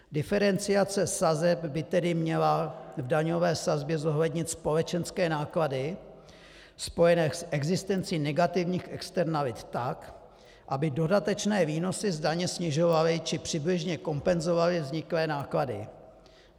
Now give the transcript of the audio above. Diferenciace sazeb by tedy měla v daňové sazbě zohlednit společenské náklady spojené s existencí negativních externalit tak, aby dodatečné výnosy z daně snižovaly či přibližně kompenzovaly vzniklé náklady.